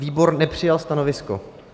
Výbor nepřijal stanovisko.